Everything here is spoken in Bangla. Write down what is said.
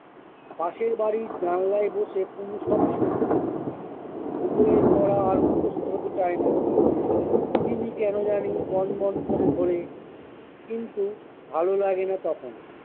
পাশের বাড়ির জানলায় বসে তিনি সবই শুনতে পায়। ভূগোলের পড়া আর মুখস্ত হতে চায় না। পৃথিবী কেন জানি বনবন করে ঘোরে, কিন্তু ভালো লাগেনা তখন